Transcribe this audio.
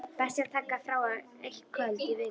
Best er að taka frá eitt kvöld í viku.